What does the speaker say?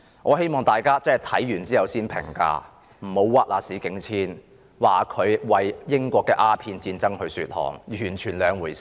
我希望大家讀畢後才作出評價，不要冤枉史景遷，批評他為英國的鴉片戰爭說項，完全是兩回事。